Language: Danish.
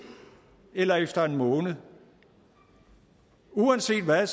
eller efter en måned uanset hvad